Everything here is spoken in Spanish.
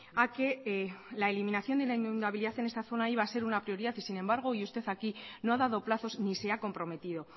a que la eliminación de la inundabilidad en esta zona iba a ser una prioridad y sin embargo hoy usted aquí no ha dado plazos ni se ha comprometido